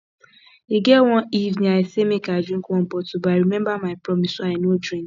e get one evening i say make i drink one bottle but i remember my promise so i no drink